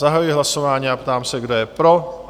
Zahajuji hlasování a ptám se, kdo je pro?